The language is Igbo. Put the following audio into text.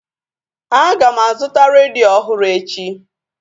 A ga m azụta redio ọhụrụ echi